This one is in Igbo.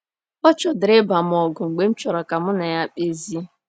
Ọ chọdịrị ịba m ọgụ mgbe m chọrọ ka mụ na ya kpezie.